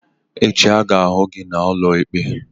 Echi a ga m ahụ gị n'ụlọ ikpe!